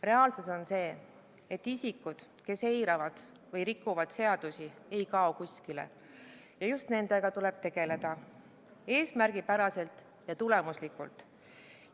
Reaalsus on see, et isikud, kes eiravad või rikuvad seadusi, ei kao kuskile ja just nendega tuleb tegeleda eesmärgipäraselt ja tulemuslikult.